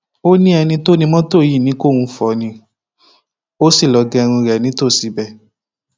ó ní ẹni tó ni mọtò yìí ní kóun fọ ọ ni ó sì lọọ gẹrun ẹ nítòsí ibẹ